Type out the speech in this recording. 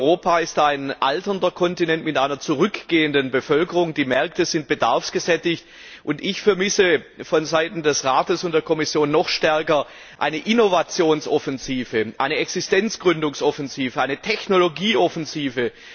Europa ist ein alternder Kontinent mit einer zurückgehenden Bevölkerung, die Märkte sind bedarfsgesättigt, und ich vermisse vonseiten des Rates und der Kommission noch stärker eine Innovationsoffensive, eine Existenzgründungsoffensive, eine Technologieoffensive.